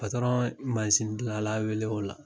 ye mansindilanla wele o la